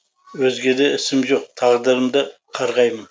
өзгеде ісім жоқ тағдырымды қарғаймын